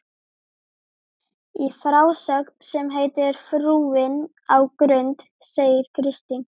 Í frásögn sem heitir Frúin á Grund segir Kristín